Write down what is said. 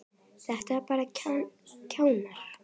Þetta eru bara kjánar.